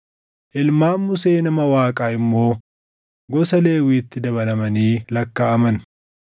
Ilmaan Musee nama Waaqaa immoo gosa Lewwiitti dabalamanii lakkaaʼaman.